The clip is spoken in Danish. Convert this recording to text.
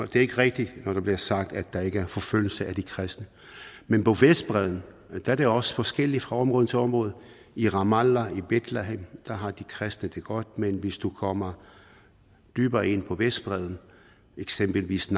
det er ikke rigtigt når der bliver sagt at der ikke er forfølgelse af de kristne men på vestbredden er det også forskelligt fra område til område i ramallah i betlehem har de kristne det godt men hvis du kommer dybere ind på vestbredden eksempelvis